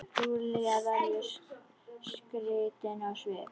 Júlía verður skrítin á svip.